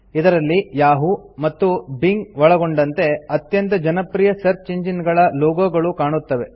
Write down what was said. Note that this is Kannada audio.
ಇದರಲ್ಲಿ ಯಹೂ ಮತ್ತು ಬಿಂಗ್ ಒಳಗೊಂಡಂತೆ ಅತ್ಯಂತ ಜನಪ್ರಿಯ ಸರ್ಚ್ ಇಂಜಿನ್ ಗಳ ಲೋಗೋ ಗಳು ಕಾಣುತ್ತವೆ